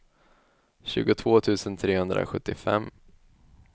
tjugotvå tusen trehundrasjuttiofem